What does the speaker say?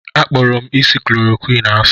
Akpọrọ m isi chloroquine asị.